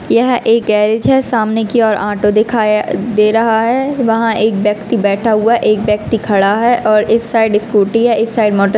यह एक गैरिज है सामने की ओर ऑटो दिखाय दे रहा है वहां एक व्यक्ति बैठा हुआ है एक व्यक्ति खड़ा है और इस साइड स्कूटी है इस साइड मोटर --